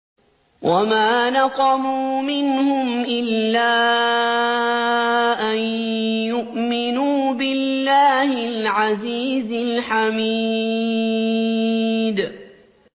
وَمَا نَقَمُوا مِنْهُمْ إِلَّا أَن يُؤْمِنُوا بِاللَّهِ الْعَزِيزِ الْحَمِيدِ